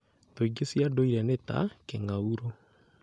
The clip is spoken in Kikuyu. Thũ ingĩ cia ndũire nĩ ta: kĩng'aurũ,